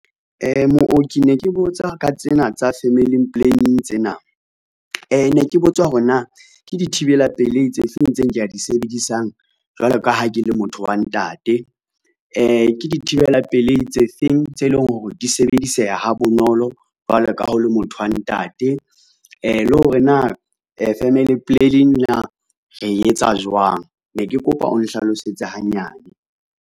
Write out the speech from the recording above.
Mooki ne ke botsa ka tsena tsa family planning tsena, ne ke botsa hore na ke dithibela pelei tse feng tseo nkea di sebedisang jwalo ka ha ke le motho wa ntate, ke dithibela pelei tse feng tse leng hore di sebediseha ha bonolo jwalo ka ha o le motho wa ntate, le hore na family planning na re etsa jwang, ne ke kopa o nhlalosetse hanyane.